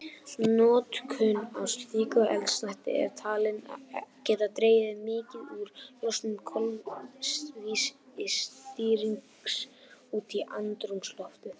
Notkun á slíku eldsneyti er talin geta dregið mikið úr losun koltvísýrings út í andrúmsloftið.